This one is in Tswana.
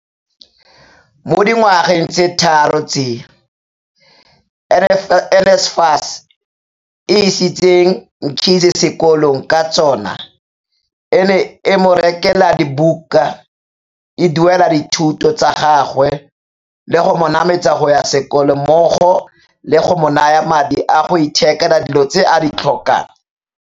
Mo dingwageng di le tharo tse NSFAS e isitseng Mkhize sekolong ka tsona e ne e mo rekela dibuka, e duela dithuto tsa gagwe le go mo nametsa go ya sekolong mmogo le go mo naya madi a go ithekela dilo tse a di tlhokang.